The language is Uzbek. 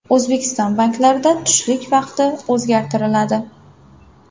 O‘zbekiston banklarida tushlik vaqti o‘zgartiriladi.